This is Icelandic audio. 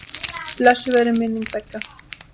Blessuð veri minning beggja.